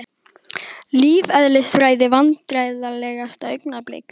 Lífeðlisfræði Vandræðalegasta augnablik?